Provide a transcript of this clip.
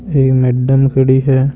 एक मैडम खड़ी है।